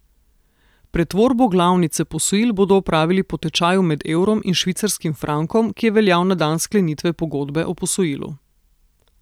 Pretvorbo glavnice posojil bodo opravili po tečaju med evrom in švicarskim frankom, ki je veljal na dan sklenitve pogodbe o posojilu.